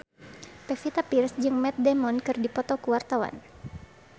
Pevita Pearce jeung Matt Damon keur dipoto ku wartawan